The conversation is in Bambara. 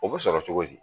O bɛ sɔrɔ cogo di